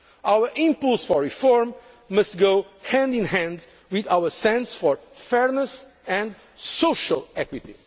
Our impulse for reform must go hand in hand with our sense of fairness and social equity.